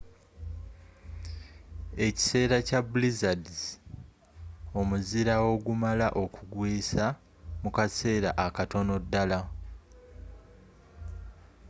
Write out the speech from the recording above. ekiseera kya blizzards omuzira ogumala okwigwisa mu kasera akatono ddala